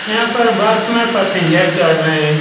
यहाँ पर बस में पैसेंजर चढ़ रहे हैं।